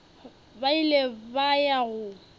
ba ile ba ya go